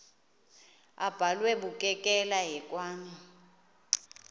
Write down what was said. abhalwe bukekela hekwane